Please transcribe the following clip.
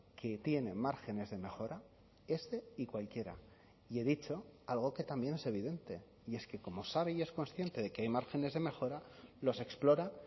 que tiene márgenes de mejora este y cualquiera y he dicho algo que también es evidente y es que como sabe y es consciente de que hay márgenes de mejora los explora